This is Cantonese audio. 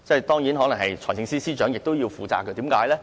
當然，財政司司長亦可能要負責，為甚麼呢？